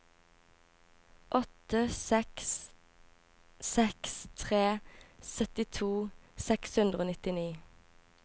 åtte seks seks tre syttito seks hundre og nittini